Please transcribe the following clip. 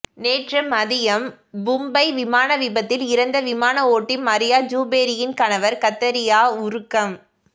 நேற்று மதியம் மும்பை விமான விபத்தில் இறந்த விமான ஓட்டி மரியா ஜுபேரியின் கணவர் கத்தரியா உருக்கம்